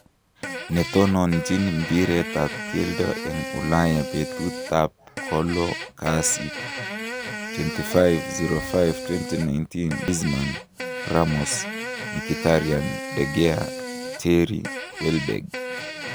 Netononjin mbiiret ab keldo en Ulaya betutab kolo kasit 25.05.2019:Griezmann, Ramos, Mkhitaryan, De Gea, Terry, Welbeck